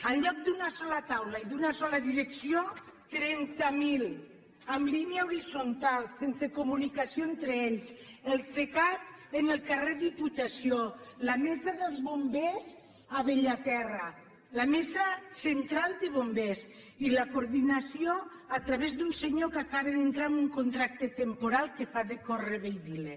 en lloc d’una sola taula i d’una sola direcció trenta mil en línia horitzontal sense comunicació entre ells el cecat en el carrer diputació la mesa dels bombers a bellaterra la mesa central de bombers i la coordinació a través d’un senyor que acaba d’entrar amb un contracte temporal que fa de correveidile